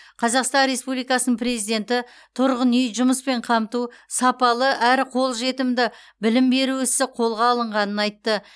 қазақстан республикасының президенті тұрғын үй жұмыспен қамту сапалы әрі қолжетімді білім беру ісі қолға алынғанын айтты